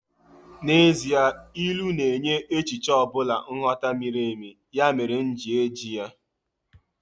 Actually, Proverbs gives deeper meaning to any concept, that's why I am using it.